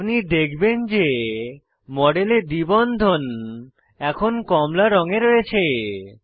আপনি দেখবেন যে মডেলে দ্বি বন্ধন এখন কমলা রঙে রয়েছে